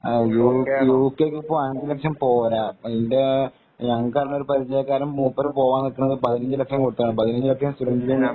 U കെക്ക് ഇപ്പൊ അഞ്ച് ലക്ഷം പോരാ നമ്മടെ ഒരു പരിചയക്കാരൻ മൂപ്പര് പോകാൻ നില്കുന്നത് പതിനഞ്ചു ലക്ഷം കൊടുത്തിട്ടാണ്